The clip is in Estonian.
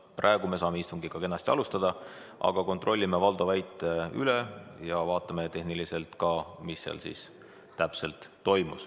Praegu me saame istungit kenasti alustada, aga kontrollime Valdo väite üle ja vaatame tehniliselt ka, mis seal siis täpselt toimus.